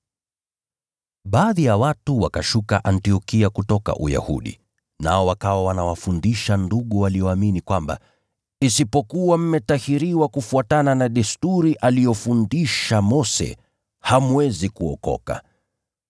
Baadhi ya watu wakashuka Antiokia kutoka Uyahudi, nao wakawa wanawafundisha wandugu: “Msipotahiriwa kufuatana na desturi aliyofundisha Mose, hamwezi kuokoka.”